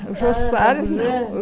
Ah, Abujamra... O Jô Soares não.